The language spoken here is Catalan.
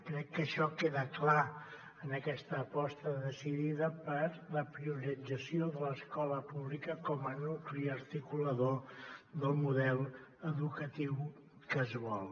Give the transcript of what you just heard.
crec que això queda clar en aquesta aposta decidida per la priorització de l’escola pública com a nucli articulador del model educatiu que es vol